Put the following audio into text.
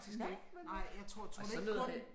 Nej men øh og så noget vand